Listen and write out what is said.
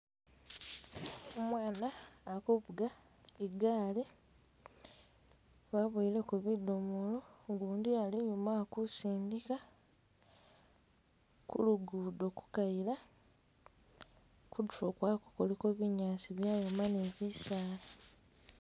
Umwana akuvuga igaali wabuweleko bidomolo ugundi ali inyuma akusindika ku lugudo kukayila kutulo kwako kuliko binyaasi byayoma nibisala